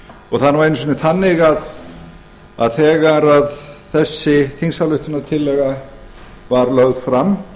og það er nú einu sinni þannig að þegar þessi þingsályktunartillaga var lögð fram